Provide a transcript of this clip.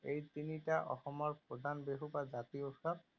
এই তিনিটা অসমৰ প্ৰধান বিহু বা জাতীয় উৎসৱ।